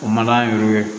O ma yurugu ye